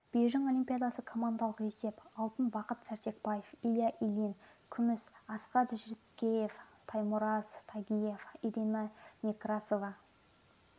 бейжің олимпиадасы командалық есеп алтын бақыт сәрсекбаев илья ильин күміс асқат жіткеев таймураз тигиев ирина некрасова